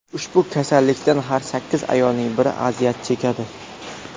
Ushbu kasallikdan har sakkiz ayolning biri aziyat chekadi.